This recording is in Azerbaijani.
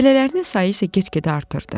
Belələrinin sayı isə get-gedə artırırdı.